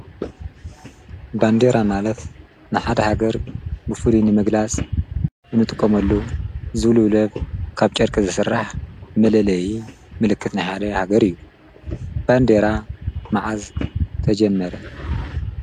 ባንዴራ ማለፍ ንሓድ ሃገር ብፉሊንመግላስ እንጥቖመሉ ዝብሉብለብ ካብ ጨርቀ ዝሠራሕ መለለይ ምልክት ናኃለ ሃገር እዩ ባንዴራ መዓዝ ተጀመረ